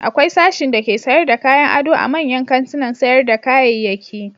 Akwai sashin dake sayar da kayan ado a manyan kantunan sayar da kayayyaki.